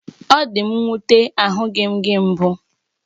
Ọ dị m nwute, ahụghị m gị mbụ